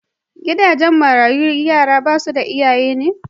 Gidajen marayu na yaran da basu da iyaye ne.